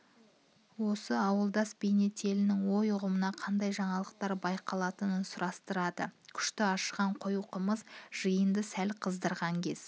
осы алуандас бейнетелінің ой-үғымында қандай жаңалықтар байқалатынын сұрастырады күшті ашыған қою қымыз жиынды сәл қыздырған кез